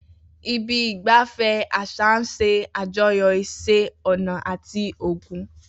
Ibi ìgbafẹ́ àṣà ń ṣe àjọyọ̀ iṣẹ́ ọnà àti ogún.